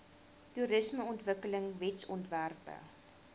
toerismeontwikkelingwetsontwerpe